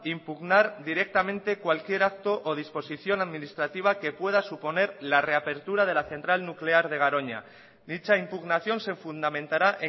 impugnar directamente cualquier acto o disposición administrativa que pueda suponer la reapertura de la central nuclear de garoña dicha impugnación se fundamentará